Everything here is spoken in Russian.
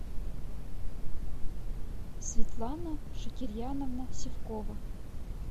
светлана шакирьяновна сивкова